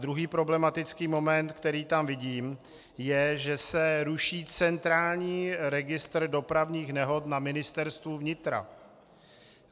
Druhý problematický moment, který tam vidím, je, že se ruší centrální registr dopravních nehod na Ministerstvu vnitra.